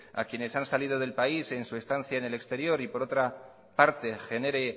a quienes han salido del país en su estancia en el exterior y que por otra parte genere